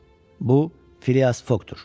Bu Filias Fokdur.